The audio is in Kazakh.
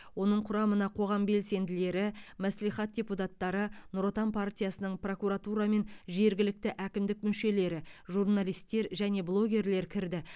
оның құрамына қоғам белсенділері мәслихат депутаттары нұр отан партиясының прокуратура мен жергілікті әкімдік мүшелері журналистер және блогерлер кірді